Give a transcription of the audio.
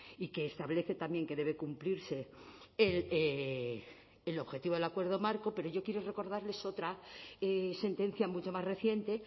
y que establece también que debe cumplirse el objetivo del acuerdo marco pero yo quiero recordarles otra sentencia mucho más reciente